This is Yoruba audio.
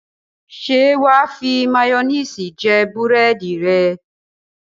Ṣé wà á fi máyónìsì jẹ búrẹ́dì rẹ?